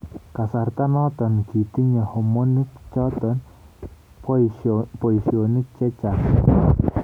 kasarta noto kitinye homoniik choto boisyonik chechaang